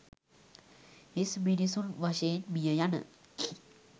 හිස් මිනිසුන් වශයෙන් මිය යන